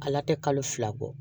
Ala tɛ kalo fila bɔ